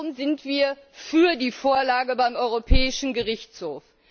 Warum sind wir für die Vorlage beim Europäischen Gerichtshof?